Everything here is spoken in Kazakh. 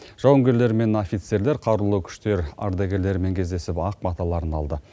жауынгерлер мен офицерлер қарулы күштер ардагерлерімен кездесіп ақ баталарын алды